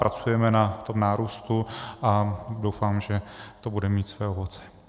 Pracujeme na tom nárůstu a doufám, že to bude mít své ovoce.